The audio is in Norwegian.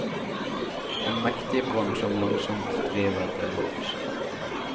En mektig brann som langsomt driver til havs.